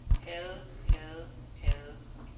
havde havde havde